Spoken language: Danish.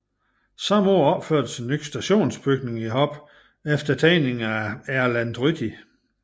Samme år opførtes en ny stationsbygning i Hop efter tegninger af Erlend Tryti